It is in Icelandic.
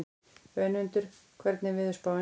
Önundur, hvernig er veðurspáin?